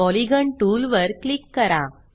polygon टूलवर click करा